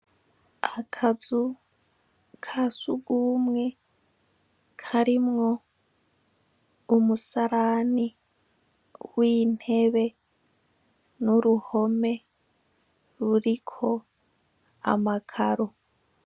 Akazu ka sugumwe karimwo umusarani w'intebe n'uruhome ruriko amakaro.